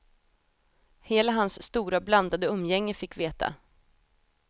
Hela hans stora blandade umgänge fick veta.